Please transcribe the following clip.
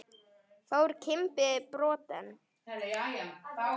Fór Kimbi brott en